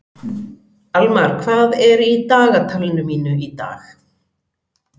Almar, hvað er í dagatalinu mínu í dag?